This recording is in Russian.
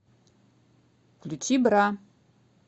включи бра